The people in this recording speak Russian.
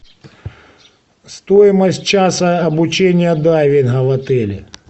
стоимость часа обучения дайвинга в отеле